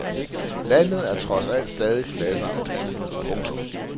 Landet er trods alt stadig klasseopdelt. punktum